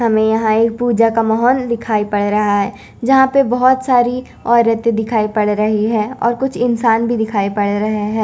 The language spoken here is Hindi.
हमें यहाँ एक पूजा का महल दिखाई पर रहा है जहा पे बहोत सरी ओरते दिखाई पर रही है और कुछ इंसान भी दिखाई पर रहे है।